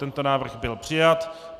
Tento návrh byl přijat.